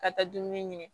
Ka taa dumuni ɲini